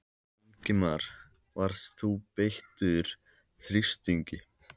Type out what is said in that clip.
Ingimar: Varst þú beittur þrýstingi?